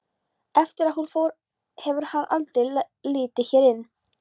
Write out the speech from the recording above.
Eftir að hún fór hefur hann aldrei litið hér inn.